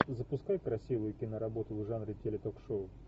запускай красивые киноработы в жанре теле ток шоу